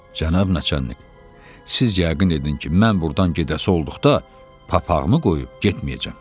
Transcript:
Cənab naçalnik, siz yəqin edin ki, mən burdan gedəsi olduqda papağımı qoyub getməyəcəm.